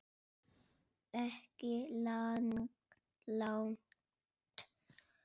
Ekki langt.